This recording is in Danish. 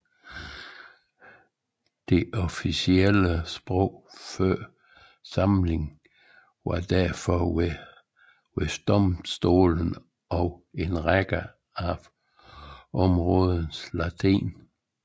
Det officielle sprog før samlingen var derfor ved domstolene og i en række af områderne latin